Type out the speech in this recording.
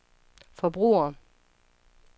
forbrugere